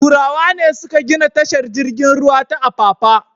Turawa ne suka gina tashar jirgin ruwa ta Apapa.